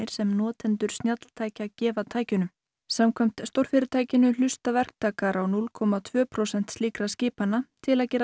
sem notendur snjalltækja gefa tækjunum samkvæmt stórfyrirtækinu hlusta verktakar á núll komma tvö prósent slíkra skipana til að gera